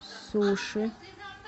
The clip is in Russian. суши